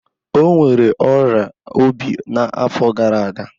Ọ nwere ọrịa obi n'afọ gara aga.